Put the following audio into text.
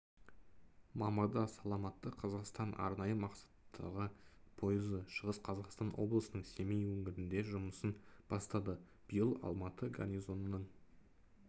мамырда саламатты қазақстан арнайы мақсаттағы пойызы шығыс қазақстан облысының семей өңірінде жұмысын бастады биыл алматы гарнизонының